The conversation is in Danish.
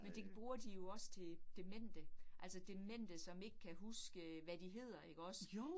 Men det bruger de jo også til demente, altså demente, som ikke kan huske, hvad de hedder ikke også